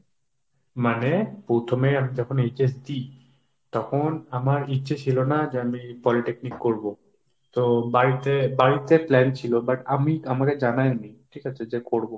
মানে, প্রথমে আমি যখন HS দিই তখন আমার ইচ্ছে ছিল না যে আমি polytechnic করব। তো বাড়িতে বাড়িতে plan ছিল। but আমি আমাকে জানায় নি ঠিক আছে যে করব।